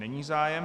Není zájem.